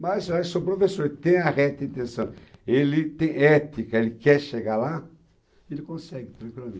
Mas o professor tem a reta intenção, ele tem ética, ele quer chegar lá, ele consegue, tranquilamente.